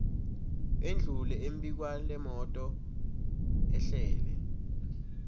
endlule embikwalemoto ehlele